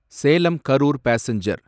Salem Karur passenger